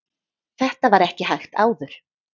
þetta var ekki hægt áður